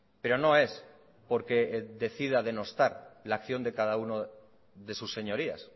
pero no es porque decida denostar la acción de cada uno de sus señorías